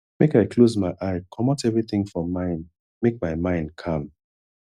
make i close my eye comot everytin for mind make my mind calm